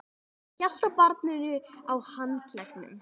Hann hélt á barninu á handleggnum.